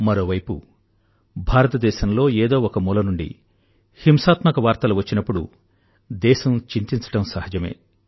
మరోవైపు భారతదేశంలో ఏదో ఒక మూల నుండి హింసాత్మక వార్తలు వచ్చినప్పుడు దేశం చింతించడం సహజమే